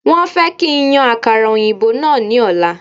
Wọ́n fẹ́ kí n yan àkàrà òyìnbó náà ní ọ̀la